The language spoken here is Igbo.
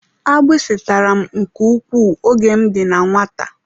Agbisi tàrà m nke ukwuu oge m dị na nwata.